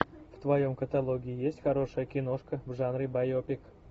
в твоем каталоге есть хорошая киношка в жанре байопик